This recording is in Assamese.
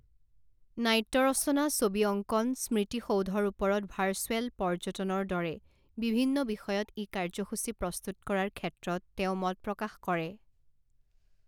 নাট্য ৰচনা, ছবি অংকন, স্মৃতি সৌধৰ ওপৰত ভাৰ্চুৱেল পৰ্যটনৰ দৰে বিভিন্ন বিষয়ত ই কাৰ্যসূচী প্ৰস্তুত কৰাৰ ক্ষে্ত্ৰত তেওঁ মত প্ৰকাশ কৰে।